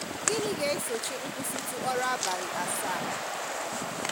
Gịnị̀ ga-èsọ̀chí̀ nkwụsị̀tụ̀ ọ̀rụ̀ àbàlị̀ asaà a?